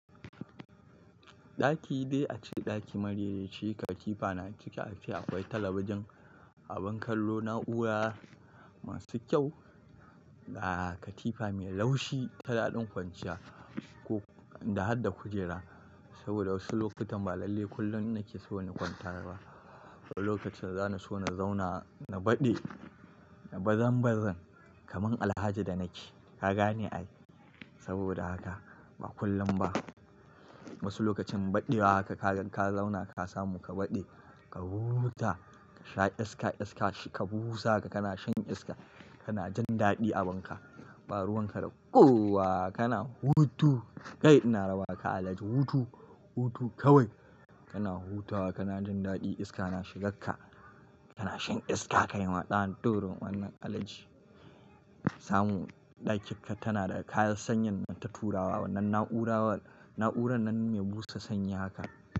Ɗaki dai ace ɗaki marai re ci, katifa na ciki. Ace akwai talabijin, abin kallo, na'ura masu kyau da katifa mai laushi, ta daɗin kwanciya ko da harda kujera. Saboda wasu lokutan ba lalle kullum nake so na kwanta ba. Wani lokacin za ni so na zauna, na baɗe, na bazan bazan kaman Alhaji da nake. Ka gane ai? Saboda haka ba kullum ba. Wasu lokacin baɗewa haka ka ka zauna ka samu ka baɗe, ka huta, ka sha iska iska shika busa ka, kana shan iska, kana jin daɗi a banka. Ɓa ruwan ka da ƙowa kana hutu. Kai ina raba ka Alhaji, hutu, hutu kawai. Kana hutawa kana jin daɗi iska na shigakka. Kana shan iska kaima dan durin uwannan Alhaji. Samu ɗakinka tana da kayan sanyin nan ta turawa wannan na'ura, na'uran nan me busa sanyi haka.